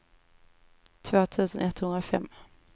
två tusen etthundrafem